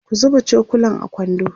ku zuba cokulan a kwando